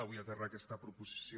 avui aterra aquesta proposició